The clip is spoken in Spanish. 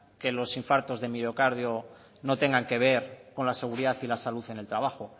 que los impactos de miocardio no tengan que ver con la seguridad y la salud en el trabajo